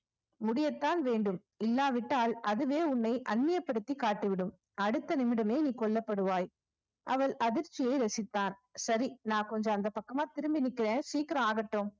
முடியத்தான் வேண்டும் இல்லாவிட்டால் அதுவே உன்னை அந்நியப்படுத்தி காட்டிவிடும் அடுத்த நிமிடமே நீ கொல்லப்படுவாய் அவள் அதிர்ச்சியை ரசித்தார் சரி நான் கொஞ்சம் அந்தப் பக்கமா திரும்பி நிக்கிறேன் சீக்கிரம் ஆகட்டும்